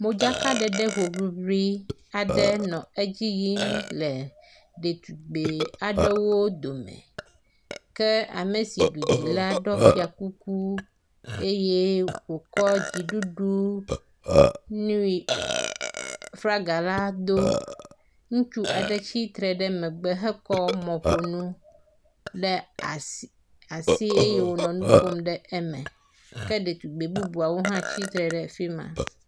Modzaka ɖeɖe hoŋliŋli aɖe nɔ edzi yim le ɖetugbi aɖewo dome. Ke ame si ɖu dzi la ɖɔ fia kuku eye wokɔ dziɖuɖu nɛ flaga la do. Ŋutsu aɖe tsitre ɖe megbe hekɔ mɔƒonu ɖe asi asi eye wonɔ nu ƒom ɖe eme ke ɖetugbi bubuawo hã tsitre ɖe fi ma.